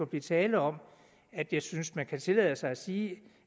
blive tale om at jeg synes at man kan tillade sig at sige